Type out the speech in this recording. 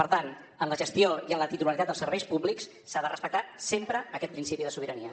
per tant en la gestió i en la titularitat dels serveis públics s’ha de respectar sempre aquest principi de sobirania